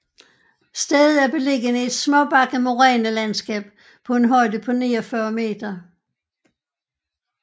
Stedet er beliggende i et småbakket morænelandskab på en højde på 49 m